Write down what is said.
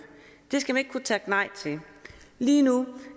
det skal man ikke kunne takke nej til lige nu